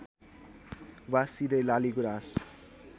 वा सिधै लालीगुँरास